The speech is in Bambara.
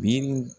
Bi